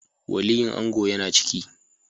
Waliyin ango ya na ciki